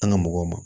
An ga mɔgɔw ma